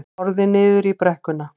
Horfði niður í brekkuna.